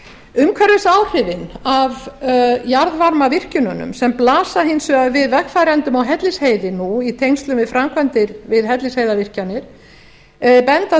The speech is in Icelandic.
umhverfisáhrifin af jarðvarmavirkjunum sem blasa hins vegar við vegfarendum á hellisheiði nú í tengslum við framkvæmdir við hellisheiðarvirkjanir benda